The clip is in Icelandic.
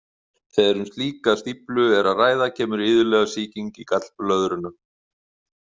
Þegar um slíka stíflu er að ræða kemur iðulega sýking í gallblöðruna.